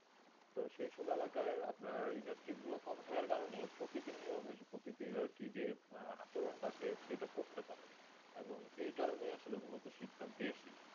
তো সেই বেলা কার আপনা ইন্ডাস্ট্রি গুলু কম থাকা কারণে প্রকৃতি নিয়োবেশ প্রকৃতি তা যে আচরণ সেটা করতে পারে এই কারণ আসলে মূলত শীত তাপ বেশি